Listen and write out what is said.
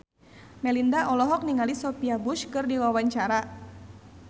Melinda olohok ningali Sophia Bush keur diwawancara